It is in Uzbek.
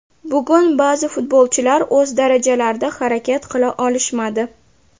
Bugun ba’zi futbolchilar o‘z darajalarida harakat qila olishmadi.